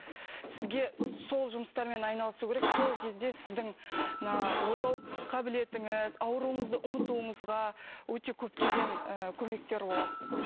сізге сол жұмыстармен айналысу керек сол кезде сіздің мына ойлау қабілетіңіз ауруыңызды ұмытуыңызға өте көптеген ы көмектер болады